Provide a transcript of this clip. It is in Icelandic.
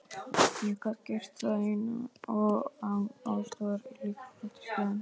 Ég gat gert það ein og án aðstoðar í líkamsræktarstöðinni.